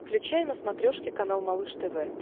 включай на смотрешке канал малыш тв